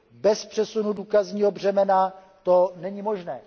Bez přesunu důkazního břemena to není možné.